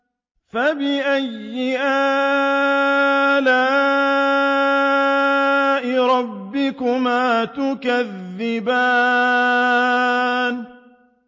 فَبِأَيِّ آلَاءِ رَبِّكُمَا تُكَذِّبَانِ